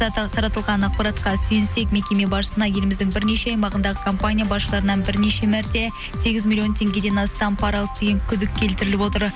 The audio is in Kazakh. таратылған ақпаратқа сүйенсек мекеме басшысына еліміздің бірнеше аймағындағы компания баштарынан бірнеше мәрте сегіз миллион теңгеден астам паралық деген күдік келтіріліп отыр